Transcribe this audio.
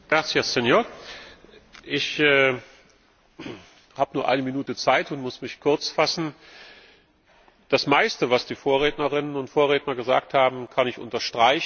Herr Präsident! Ich habe nur eine Minute Zeit und muss mich kurz fassen. Das meiste, was die Vorrednerinnen und Vorredner gesagt haben, kann ich unterstreichen.